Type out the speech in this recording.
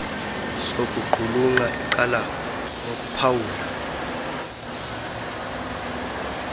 sokuqulunqa iqala ngokuphawula